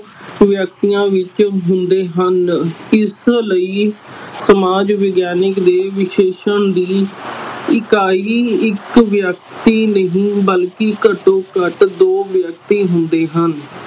ਵਿਅਕਤੀਆਂ ਵਿਚ ਹੁੰਦੇ ਹਨ ਇਸ ਲਈ ਸਮਾਜ ਵਿਗਿਆਨਿਕ ਦੇ ਵਿਸ਼ੇਸ਼ਣ ਦੀ ਇਕਾਈ ਇਕ ਵਿਅਕਤੀ ਨਹੀਂ ਬਲਕਿ ਘਟੋ ਘੱਟ ਦੋ ਵਿਅਕਤੀ ਹੁੰਦੇ ਹਨ